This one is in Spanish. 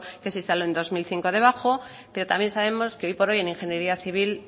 que se instaló en dos mil cinco debajo pero también sabemos que hoy por hoy en ingeniería civil